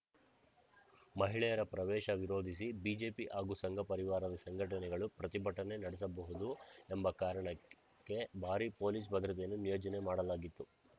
ಮಹಿಳೆಯರ ಪ್ರವೇಶ ವಿರೋಧಿಸಿ ಬಿಜೆಪಿ ಹಾಗೂ ಸಂಘಪರಿವಾರದ ಸಂಘಟನೆಗಳು ಪ್ರತಿಭಟನೆ ನಡೆಸಬಹುದು ಎಂಬ ಕಾರಣಕ್ಕೆ ಭಾರಿ ಪೊಲೀಸ್‌ ಭದ್ರತೆಯನ್ನು ನಿಯೋಜನೆ ಮಾಡಲಾಗಿತ್ತು